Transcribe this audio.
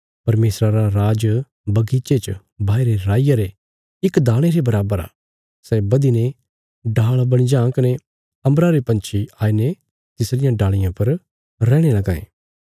परमेशरा रा राज बगीचे च बाईरे राईया रे इक दाणे रे बराबर आ सै बधीने डाल़ बणी जां कने अम्बरा रे पंछी आईने तिसरियां डाल़ियां पर रैहणे लगां यें